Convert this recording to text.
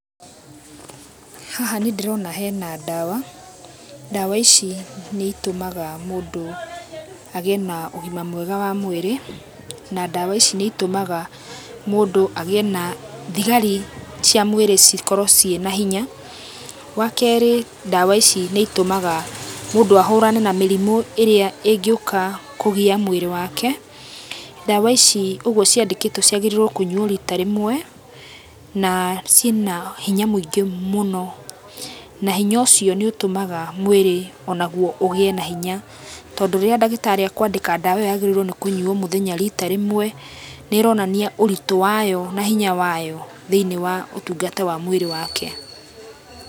Haha nĩndĩrona hena ndawa, ndawa ici nĩitumaga mũndũ agiĩ na ũgima mwega wa mwĩrĩ na ndawa ici nĩitumaga mũndũ agĩe na thigari cia mwĩrĩ cikorwe cinahinya ,wakerĩ ndawa ici nĩitũmaga mũndũ ahũrane na mĩrimũ ĩrĩa ĩngĩũka kũgia mwĩrĩ wake, ndawa ici ũgũo ciandĩkĩtwe ciagĩrĩirwe kũnyuo rita rĩmwe na cina hinya mũingĩ mũno nahinya ũcio nĩũtũmaga mwĩrĩ ũnaguo ũgĩe na hinya tondũ rĩrĩa ndagĩtarĩ ekwandĩka ndawa ĩyo yagĩrĩirwo nĩ kũnyuo mũthenya rita rĩmwe nĩronania ũritũ wayo na hinya wayo thĩinĩ wa ũtungata wa mwĩrĩ wake.